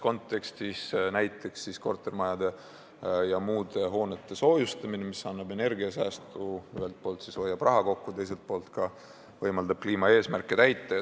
Näiteks annab kortermajade ja muude hoonete soojustamine energiasäästu – ühelt poolt hoiab raha kokku, teiselt poolt võimaldab kliimaeesmärke täita.